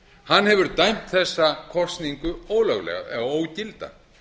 hann hefur dæmt þessa kosningu ólöglega eða ógilda